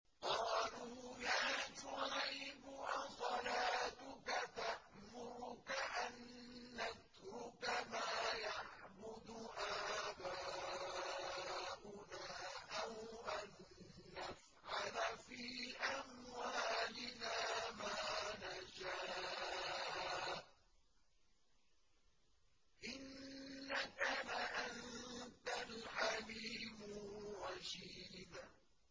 قَالُوا يَا شُعَيْبُ أَصَلَاتُكَ تَأْمُرُكَ أَن نَّتْرُكَ مَا يَعْبُدُ آبَاؤُنَا أَوْ أَن نَّفْعَلَ فِي أَمْوَالِنَا مَا نَشَاءُ ۖ إِنَّكَ لَأَنتَ الْحَلِيمُ الرَّشِيدُ